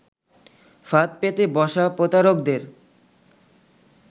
ফাঁদ পেতে বসা প্রতারকদের